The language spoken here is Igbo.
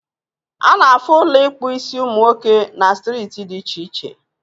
Ana afụ Ụlọ ịkpụ isiumunwoke na striiti dị iche iche